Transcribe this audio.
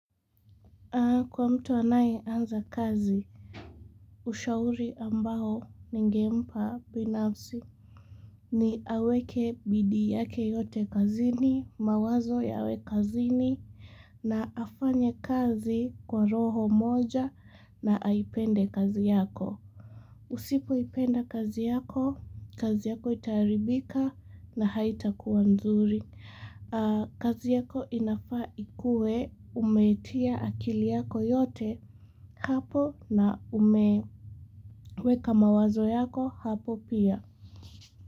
Kwa mtu anayeanza kazi, ushauri ambao ningempa binafsi ni aweke bidii yake yote kazini, mawazo yawe kazini na afanye kazi kwa roho moja na aipende kazi yako. Usipoipenda kazi yako, kazi yako itaharibika na haitakuwa nzuri. Kazi yako inafaa ikue umetia akili yako yote hapo na umeweka mawazo yako hapo pia.